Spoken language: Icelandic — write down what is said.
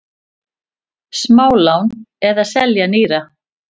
Smálán eða selja nýra?